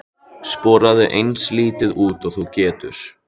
Sporaðu eins lítið út og þú getur.